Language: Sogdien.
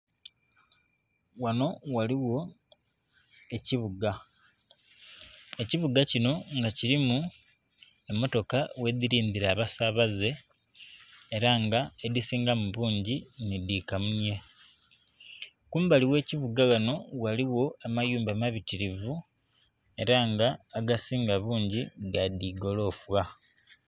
Wano ghaligho ekibuga, ekibuga kino nga kilimu emmotoka ghedhilindhira abasaabaze ela nga edhisingamu bungi ni dhi kamunye. Kumbali gh'ekibuga wano ghaligho amayumba mabitirivu ela nga agasinga bungi ga dhigoloofa.